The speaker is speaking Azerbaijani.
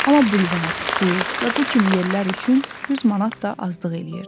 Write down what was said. Amma bulvar, klub və bu kimi yerlər üçün 100 manat da azlıq eləyirdi.